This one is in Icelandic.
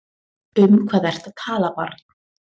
Um hvað ertu að tala barn?